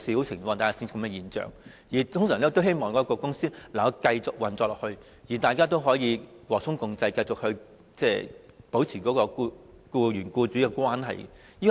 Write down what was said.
他們一般都希望公司能夠繼續運作，大家和衷共濟，繼續保持僱員與僱主的關係。